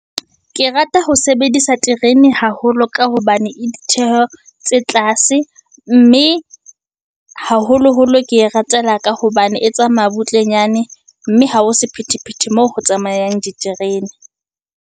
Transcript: Ke rata ho sebedisa terene haholo ka hobane e ditjeko tse tlase, mme haholoholo ke e ratela ka hobane e tsamaya butlenyane. Mme ha ho sephethephethe moo ho tsamayang diterene.